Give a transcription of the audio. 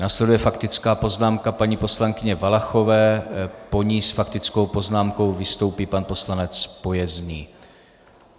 Následuje faktická poznámka paní poslankyně Valachové, po ní s faktickou poznámkou vystoupí pan poslanec Pojezný.